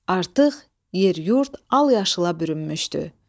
Artıq yer-yurd al-yaşıla bürünmüşdü.